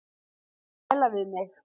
Gæla við mig.